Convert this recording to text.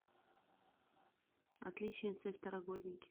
отличница и второгодники